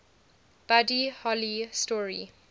buddy holly story